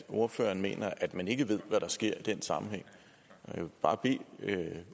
ordføreren mener at man ikke ved hvad der sker i den sammenhæng jeg vil bare bede